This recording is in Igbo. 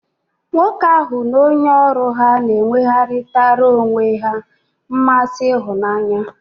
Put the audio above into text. Nwoke ahu n'onye oru ha n'enwegharitara onwe he nmasi ihunanya